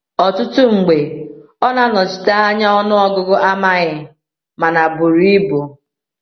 Ọtụtụ mgbe ọ na-anọchite anya ọnụọgụ amaghị mana buru ibu.